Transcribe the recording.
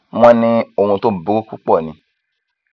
wọn ní ohun tó burú púpọ ni